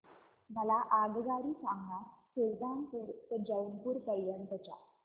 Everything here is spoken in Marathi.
मला आगगाडी सांगा सुलतानपूर ते जौनपुर पर्यंत च्या